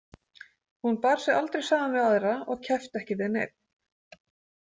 Hún bar sig aldrei saman við aðra og keppti ekki við neinn.